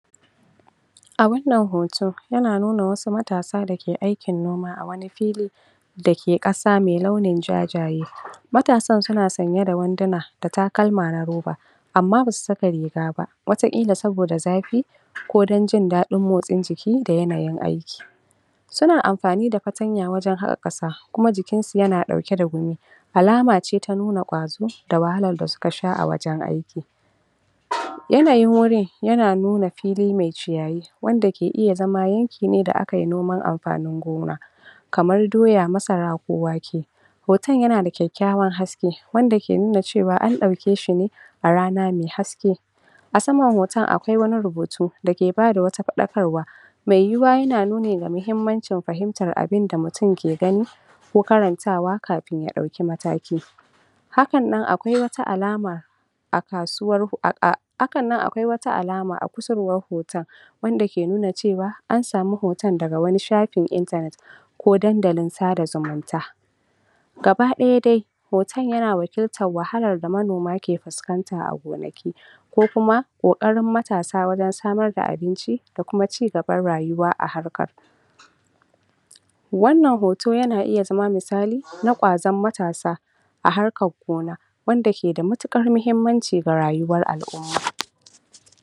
A wannan hoto yana nuna wasu matasa dake aikin noma a wani fili dake ƙasa me launin jajaye matsan suna sanye da wanduna da takalma na roba amma basu saka rigaba wata kila saboda zafi ko dan jin daɗin jiki da yanayin aiki suna amfani da fatanya wajan haƙa ƙasa kuma jikinsu yanaɗauke da gumi alamace ta nuna kwazo da wahalar da suka sha a wajan aiki? yanayin wurin yana nuna fili me ciyayi wanda ke iya zama yanki ne da akayi noman amfanin gona kamar doya masara ko wake hoton yanada kyakywan haske wanda ke nuna cewan an ɗauke shine a rana me haske asama hoton akwai wani rubutu dake bata wata faɗakarwa me yuyuwa yana nuna mahimanci fahimtar abin da mutun ke gani ko karantawa kafin yaɗaki mataki hakan nan akwai wata alama akasuwar hakannan akwai wata alama a ku surwan hoton wanda ke nuna cewa ansamu hoton daga wani shafin intanet ko dandalin sada zumunta gaba ɗaya dai hoto yana wakiltan wahalan da monoma ke fuskanta a gonaki ko kuma ƙokarin matasa wajan samar da abinci da kuma ci gaban rayuwa a harkan wanan hoto yana iya zama musali na ƙwazon matasa a harkan gona wanda ke da matuƙar mahimmanci ga rayuwar al umma